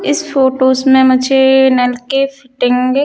इस फ़ोटोज़ मे मुझे नल के फिटिंग --